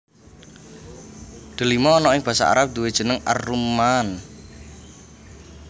Delima ana ing basa Arab duwè jeneng ar rumman